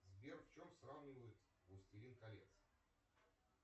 сбер в чем сравнивают властелин колец